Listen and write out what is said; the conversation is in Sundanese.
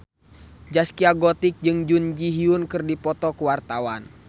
Zaskia Gotik jeung Jun Ji Hyun keur dipoto ku wartawan